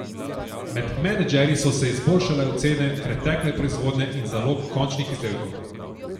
Med menedžerji so se izboljšale ocene pretekle proizvodnje in zalog končanih izdelkov.